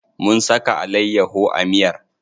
Mun saka alayyaho a miyar.